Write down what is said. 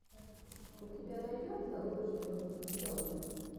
у тебя найдется лучший выпуск бейонсе